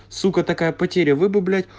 сука такая потеря вы бы блять